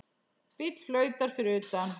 Bíll flautar fyrir utan.